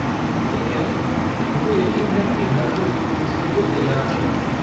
ठीक है, मुझे यकीन है कि हर कोई इसके लिए तैयार होगा।